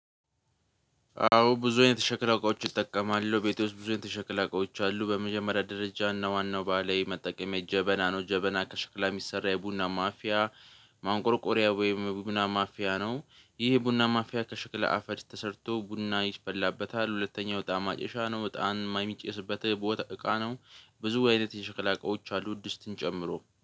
አዎ ብዙ አይነት የሽክላ እቃዎች እጠቀማለው ቤቴ ውስጥ ብዙ አይነት የሽክላ እቃዎች አሉ። በመጀመሪያ ደረጃ እና ዋናው ባህላዊ መጠቀሚያ ጀበና ነው ጀበና ከሽክላ የሚሰራ የቡና ማፊያ። ማንቆርቆሪያ ወይም ቡና ማፊያ ነው። ይሄ ቡና ማፊያ ከሽክለ አፈር ተሰርቶ ቡና ይፈላበታል። ሁለተኛው እጣን ማጨሻ ነው እጣን ምናምን የሚጨስበት ቦታ እቃ ነው። ብዙ አይነት የሸክላ እቃዎች አሉ ድስትን ጨምሮ